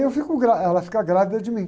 E aí eu fico gra, ela fica grávida de mim.